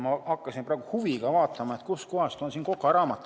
Ma hakkasin praegu huviga vaatama, kus kohas on siin kokaraamat.